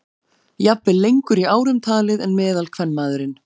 Jafnvel lengur í árum talið en meðalkvenmaðurinn.